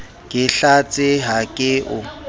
ke hlatse ha ke o